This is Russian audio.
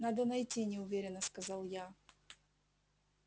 надо найти неуверенно сказал я